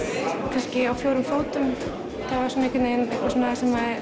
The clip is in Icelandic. kannski á fjórum fótum það var svona einhvern veginn eitthvað svona sem